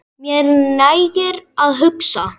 Mér nægir að hugsa.